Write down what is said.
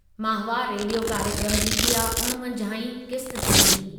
माहवार रेडियो कार्यक्रमु जी इहा उणिवंजाहीं क़िस्त थींदी।